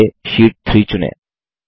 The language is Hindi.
सबसे पहले शीट 3 चुनें